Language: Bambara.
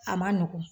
A ma nɔgɔn